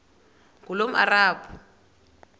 ngulomarabu